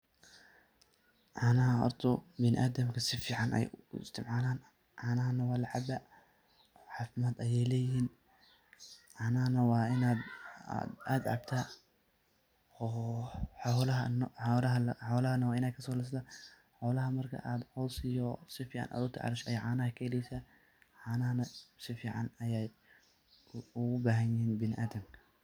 Canaahan horta bini adamka sifican ayay u istacmalan, canahan nah walacabaa cafimad aya leyehin, canahana waa inad cabta, xolaha nah wa inad kasolisata xolaha marka aa cos iyo sifican ola tacasho ayad canahan kaheleysa, canaha nah si fican ayay bini adamka ugu ficanyihin.